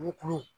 Me kuru